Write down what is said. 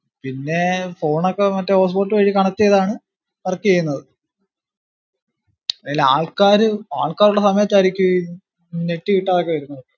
പിന്നെ phone ക്കെ മറ്റേ hotspot വഴി connect ചെയ്‌താണ്‌ work ചെയ്യിന്നത് അത് ആൾക്കാര് ആൾക്കാറുള്ള സമയത്തായിരിക്കും ഈ net കിട്ടതൊക്കെ വരുന്നത്